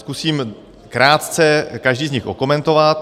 Zkusím krátce každý z nich okomentovat.